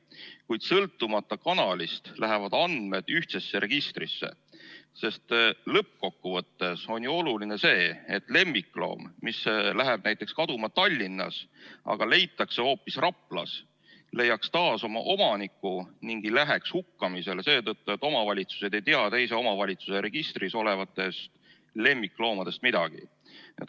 Kuid sõltumata kanalist lähevad andmed ühtsesse registrisse, sest lõppkokkuvõttes on ju oluline see, et lemmikloom, kes läheb kaduma näiteks Tallinnas, aga leitakse hoopis Raplas, leiaks taas oma omaniku ning ei läheks hukkamisele seetõttu, et omavalitsused ei tea teise omavalitsuse registris olevatest lemmikloomadest midagi.